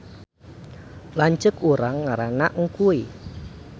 Lanceuk urang ngaranna Engkuy